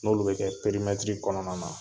N'olu be kɛ perimɛtiri kɔnɔna na